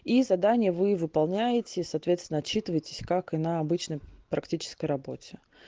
и задание вы выполняете соответственно отчитываетесь как и на обычной практической работе